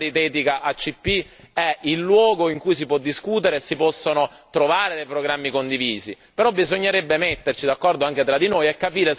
Abbiamo degli obiettivi importanti e sicuramente l'Assemblea paritetica ACP è il luogo in cui si può discutere e si possono trovare dei programmi condivisi.